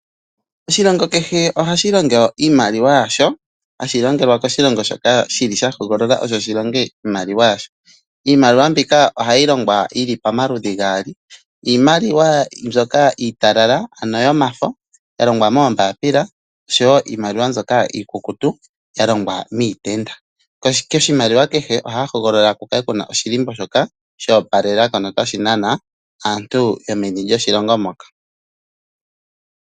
Oshilongo kehe ohashi longo oshimaliwa oshina iimaliwa yasho hashi longelwa koshi shoka shili sha hogolola osho shilonge iimaliwa yasho. Iimaliwa mbika ohayi longwa yili pamaludhi gaali, iimaliwa mbyoka iitalala ano yomafo ya longwa moombaapila noshowo iimaliwa mbyoka iikukutu ya longwa miitenda. Koshimaliwa kehe ohaya hogolola ku kale kuna oshilimbo shoka sha opalela ko notashi nana aantu yomoshilongo moka.